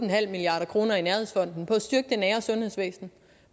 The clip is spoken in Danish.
milliard kroner i nærhedsfonden på at styrke det nære sundhedsvæsen